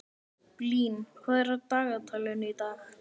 Blín, hvað er á dagatalinu í dag?